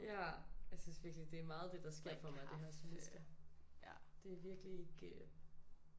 Ja jeg synes virkelig det er meget det der sker for mig det her semester det er virkelig ikke